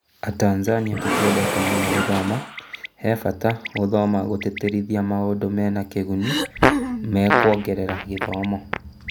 Atanzania tũtiendete mũno gũthoma, hebata gũthoma na gũtĩtĩrithia maũndũ mena kĩguni mekwongerera gĩthomo